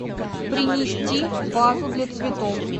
принести вазу для цветов